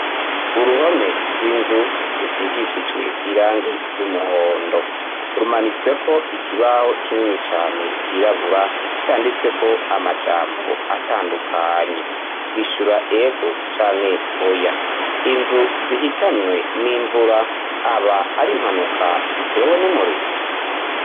Uruhome rw'inzu rusigishijwe irangi ry'umuhondo rumanitsweko ikibaho kinini cane kirabura canditswe ko amajambo atandukanye gishura ego canke oya inzu zihitanywe n'imvura aba ari mpanuka zitewe n'umue orira.